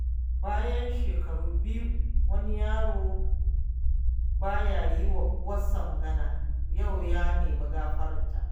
Bayan shekaru biyu wani yaro ba ya yi wa uwarsa magana, yau ya nemi gafararta.